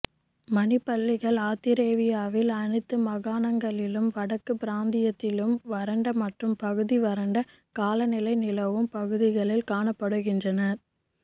மணிப் பல்லிகள் ஆத்திரேலியாவின் அனைத்து மாகாணங்களிலும் வடக்கு பிராந்தியத்திலும் வறண்ட மற்றும் பகுதி வறண்ட காலநிலை நிலவும் பகுதிகளில் காணப்படுகின்றன